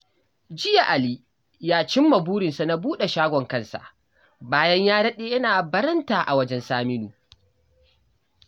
Jiya Ali ya cimma burinsa na buɗe shagon kansa bayan ya daɗe yana baranta a wajen Saminu